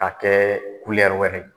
Ka kɛ wɛrɛ ye